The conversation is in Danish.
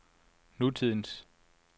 nutidens